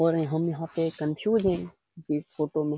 और ये हम यहाँ पे कंफ्यूज हैं इस फोटो में --